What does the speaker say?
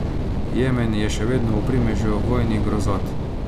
Jemen je še vedno v primežu vojnih grozot.